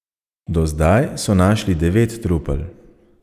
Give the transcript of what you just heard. Do zdaj so našli devet trupel.